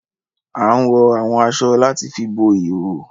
Àn wọ awọn aṣọ làti fi bo ihoho